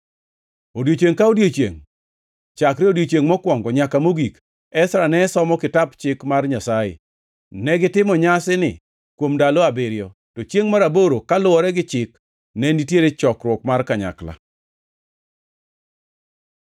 Odiechiengʼ ka odiechiengʼ, chakre odiechiengʼ mokwongo nyaka mogik, Ezra ne somo Kitap Chik mar Nyasaye. Negitimo nyasini kuom ndalo abiriyo, to chiengʼ mar aboro, kaluwore gi chik, ne nitiere chokruok mar kanyakla.